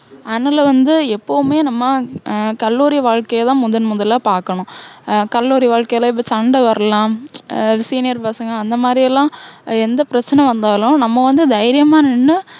அதனால வந்து எப்போவுமே நம்ம, ஹம் கல்லூரி வாழ்கைய தான் முதன் முதலா பாக்கணும். அஹ் கல்லூரி வாழ்கையில இப்போ சண்டை வரலாம். அஹ் senior பசங்க, அந்த மாதிரி எல்லாம் எந்த பிரச்சனை வந்தாலும், நம்ம வந்து தைரியமா நின்னு